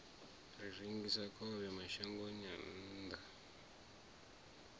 rengisa khovhe mashangoni a nnḓa